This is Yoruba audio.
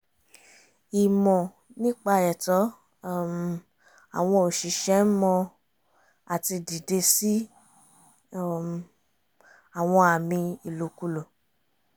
ìmọ̀ nípa ẹ̀tọ́ um àwọn òṣìṣẹ́ ń mọ àti dìde sí um àwọn àmì ìlòkulò